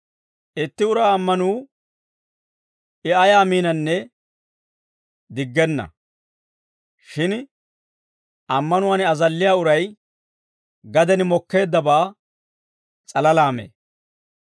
Itti uraa ammanuu I ayaa miinanne diggenna. Shin ammanuwaan azalliyaa uray gaden mokkeeddabaa s'alalaa mee.